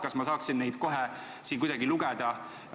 Kas ma saaksin neid kohe siin lugeda?